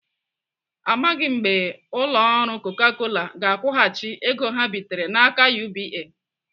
Amaghị mgbe ụlọ ọrụ Coca Cola ga-akwụghachi ego ha bitere n'aka UBA.